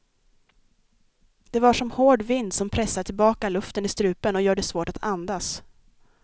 Det var som hård vind som pressar tillbaka luften i strupen och gör det svårt att andas.